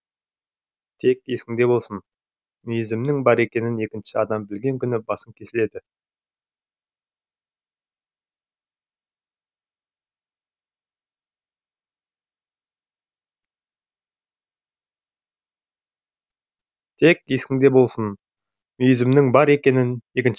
тек есіңде болсын мүйізімнің бар екенін екінші адам білген күні басың кесіледі